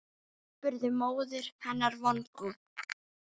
spurði móðir hennar vongóð.